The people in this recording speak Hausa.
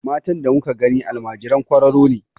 Matan da muka gani almajiran kwararo ne.